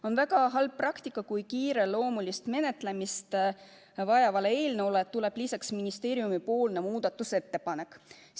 On väga halb praktika, kui kiireloomulist menetlemist vajava eelnõu kohta tuleb lisaks ministeeriumi muudatusettepanek.